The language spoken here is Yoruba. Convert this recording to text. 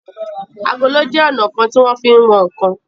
Àgòló jé ọnà kán tí wón fí wón nkán.